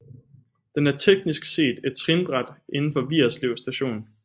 Den er teknisk set et trinbræt inden for Vigerslev Station